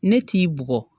Ne t'i bugɔ